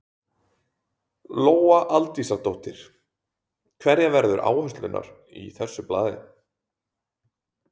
Lóa Aldísardóttir: Hverjar verða áherslurnar í þessu blaði?